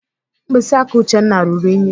Mkpịsị aka Uchenna ruru ùnyí.